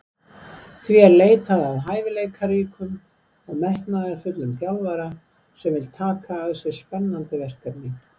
Því er leitað að hæfileikaríkum og metnaðarfullum þjálfara sem vill taka að sér spennandi verkefni.